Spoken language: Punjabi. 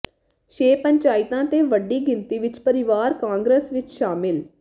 ਛੇ ਪੰਚਾਇਤਾਂ ਤੇ ਵੱਡੀ ਗਿਣਤੀ ਵਿਚ ਪਰਿਵਾਰ ਕਾਂਗਰਸ ਵਿਚ ਸ਼ਾਮਿਲ